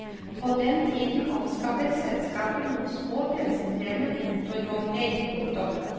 På den tiden anskaffet selskapet noen små bensindrevne motorvogner. punktum